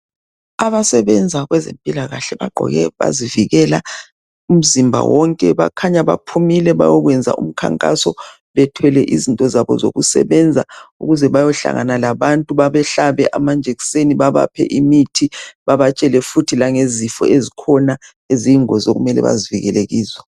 Abasebenza kwezempilakahle bagqoke bazivikela umzimba wonke. Bakhanya baphumile bayokwenza umkhankaso bethwele izinto zabo zokusebenza ukuze bayohlangana labantu babehlabe amanjekiseni, babaphe imithi ,babatshele futhi langezifo ezikhona eziyingozi okumele bazivikele kizo.